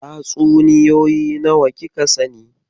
Tatsuniyoyi nawa kika sani?